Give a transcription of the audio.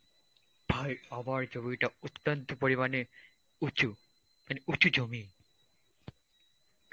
ভাই আমার জমিটা অত্যন্ত পরিমাণে উঁচু, মানে উচু জমি.